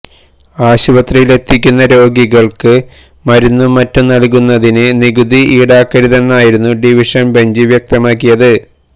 ആശുപത്രിയിലെത്തിക്കുന്ന രോഗികൾക്ക് മരുന്നും മറ്റും നൽകുന്നതിന് നികുതി ഇൌടാക്കരുതെന്നായിരുന്നു ഡിവിഷൻ ബെഞ്ച് വ്യക്തമാക്കിയത്